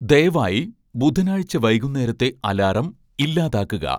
ദയവായി ബുധനാഴ്ച്ച വൈകുന്നേരത്തെ അലാറം ഇല്ലാതാക്കുക